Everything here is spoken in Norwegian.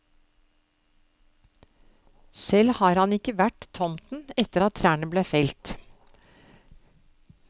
Selv har han ikke vært tomten etter at trærne ble felt.